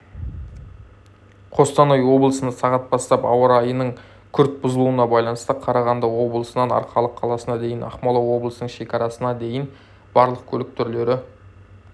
қостанай облысында сағат бастап ауа райының күрт бұзылуына баланысты қарағанды облысынан арқалық қаласына дейін ақмола облысының шекарасына дейін барлық көлік түрлері